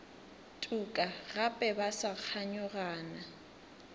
tuka gape ba sa kganyogana